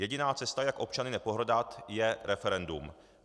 Jediná cesta, jak občany nepohrdat, je referendum.